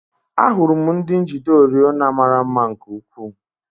Ahụrụ m ndị njide oriọna mara mma nke ukwuu.